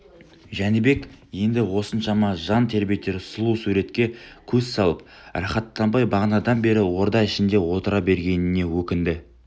жәнібек енді осыншама жан тербетер сұлу суретке көз салып рахаттанбай бағанадан бері орда ішінде отыра бергеніне өкінді